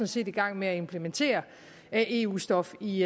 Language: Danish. set i gang med at implementere eu stof i